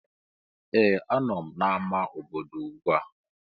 Ee! Anọ m n'amá obodo ugbu a.